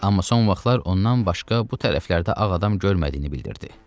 Amma son vaxtlar ondan başqa bu tərəflərdə ağ adam görmədiyini bildirdi.